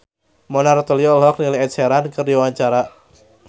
Mona Ratuliu olohok ningali Ed Sheeran keur diwawancara